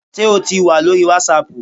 Sé o tì wà lórí wàsáàpù?